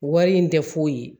Wari in tɛ foyi ye